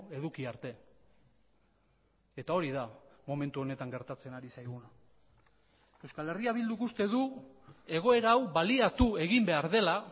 eduki arte eta hori da momentu honetan gertatzen ari zaiguna euskal herria bilduk uste du egoera hau baliatu egin behar dela